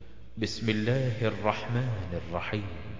بِسْمِ اللَّهِ الرَّحْمَٰنِ الرَّحِيمِ